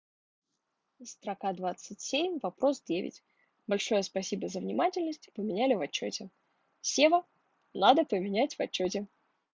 строка двадцать семь вопрос девять большое спасибо за внимательность и поменяли в отчёте сева надо поменять в отчёте